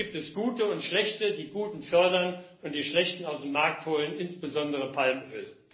Da gibt es gute und schlechte die guten fördern und die schlechten aus dem Markt holen insbesondere Palmöl.